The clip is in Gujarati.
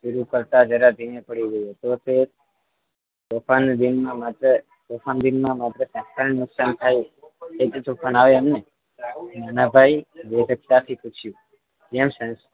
તો તે તોફાન દિનમાં માત્ર તોફાન દિનમાં માત્ર સંસ્થાની નુકસાન થાય એ તો નાનાભાઇ વિવેકતા થી પૂછયું